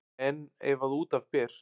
En ef að út af ber